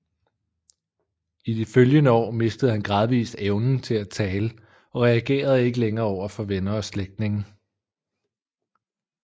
I de følgende år mistede han gradvis evnen til at tale og reagerede ikke længere overfor venner og slægtninge